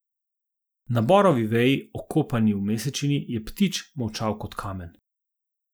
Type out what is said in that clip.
Na borovi veji, okopani v mesečini, je ptič molčal kot kamen.